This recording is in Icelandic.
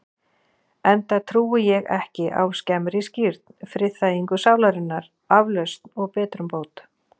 Enda trúi ég ekki á skemmri skírn, friðþægingu sálarinnar, aflausn og betrumbót.